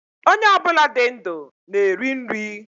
Ónyé obula dị ndụ na eri nri